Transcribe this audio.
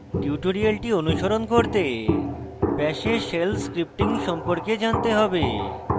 tutorial অনুসরণ করতে bash এ shell scripting সম্পর্কে জানতে have